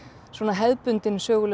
svona hefðbundin söguleg